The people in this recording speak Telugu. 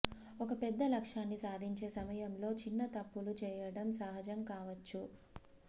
ఒక పెద్ద లక్ష్యాన్ని సాధించే సమయంలో చిన్న తప్పులు చేయడం సహజం కావచ్చు